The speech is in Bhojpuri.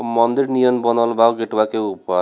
मंदिर नियन बनल बा उ गेटवा के ऊपर।